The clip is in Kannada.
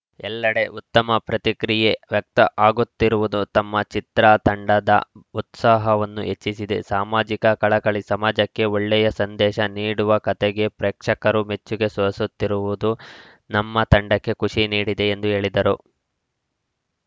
ಎಲ್ಲೆಡೆ ಉತ್ತಮ ಪ್ರತಿಕ್ರಿಯೆ ವ್ಯಕ್ತ ಆಗುತ್ತಿರುವುದು ತಮ್ಮ ಚಿತ್ರ ತಂಡದ ಉತ್ಸಾಹವನ್ನು ಹೆಚ್ಚಿಸಿದೆ ಸಾಮಾಜಿಕ ಕಳಕಳಿ ಸಮಾಜಕ್ಕೆ ಒಳ್ಳೆಯ ಸಂದೇಶ ನೀಡುವ ಕಥೆಗೆ ಪ್ರೇಕ್ಷಕರು ಮೆಚ್ಚುಗೆ ಸೊಸುತ್ತಿರುವುದು ನಮ್ಮ ತಂಡಕ್ಕೆ ಖುಷಿ ನೀಡಿದೆ ಎಂದು ಹೇಳಿದರು